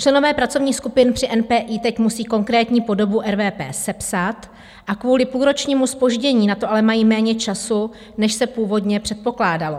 Členové pracovních skupin při NPI teď musí konkrétní podobu RVP sepsat a kvůli půlročnímu zpoždění na to ale mají méně času, než se původně předpokládalo.